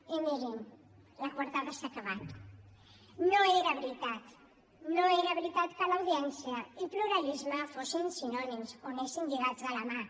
i mirin la coartada s’ha acabat no era veritat no era veritat que audiència i pluralisme fossin sinònims o anessin lligats de la mà